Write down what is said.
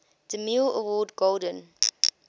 demille award golden